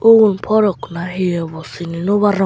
ubun frok nahi obw sini nw parongor.